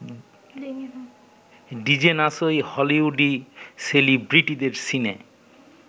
ডিজেনার্সই হলিউডি সেলিব্রিটিদের সিনে